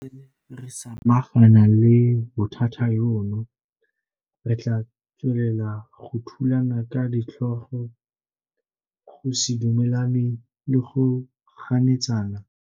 Fa re santse re samagana le bothata jono, re tla tswelela go thulana ka ditlhogo, go se dumelane le go ganetsana.